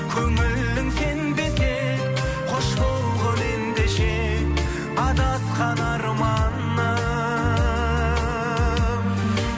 көңілің сенбесе қош болғың ендеше адасқан арманым